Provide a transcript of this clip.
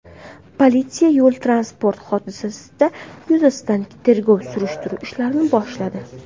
Politsiya yo‘l-transport hodisasi yuzasidan tergov-surishtiruv ishlarini boshladi.